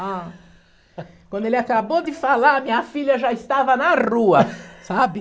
Ah, quando ele acabou de falar, minha filha já estava na rua, sabe?